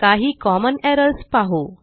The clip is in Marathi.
काही कॉमन एरर्स पाहू